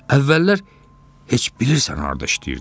Əvvəllər heç bilirsən harda işləyirdi?